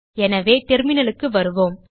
எனவே Terminalக்கு வருவோம்